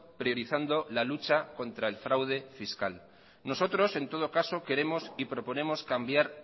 priorizando la lucha contra el fraude fiscal nosotros en todo caso queremos y proponemos cambiar